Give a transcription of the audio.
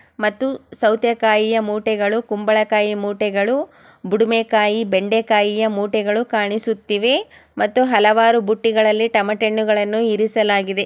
ಮತ್ತು ಸತೆಕಾಯಿಯ ಮೂಟೇಗಳು ಕುಂಬಳಕಾಯಿಯ ಮೂಟೇಗಳು ಬುಡುಮೆ ಕಾಯಿ ಬೆಂಡೆ ಕಾಯಿ ಮೂಟೆಗಳು ಕಾಣಿಸುತ್ತಿವೆ ಮತ್ತು ಹಲವಾರು ಬುಟ್ಟಿಗಳಲ್ಲಿ ಟೊಮ್ಯಾಟೋಗಳನು ಇರಿಸಲಾಗಿದೆ.